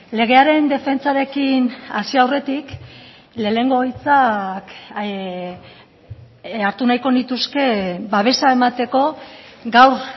legearen defentsarekin hasi aurretik lehenengo hitzak hartu nahiko nituzke babesa emateko gaur